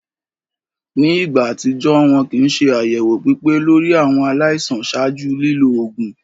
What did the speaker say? Ni igba atijọ, wọn kin ṣe ayẹwo pipe lori awọn alaisan ṣaaju lilo oogun.